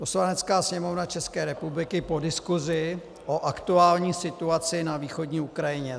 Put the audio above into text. Poslanecká sněmovna České republiky po diskusi o aktuální situaci na východní Ukrajině